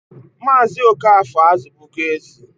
Maazị Okafor azụbụgo ezi.